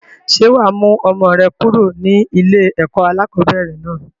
Ṣé wá mú ọmọ rẹ kúrò ní ilé ẹ̀kọ́ alakọ̀bẹ́ẹ́rẹ̀ náà?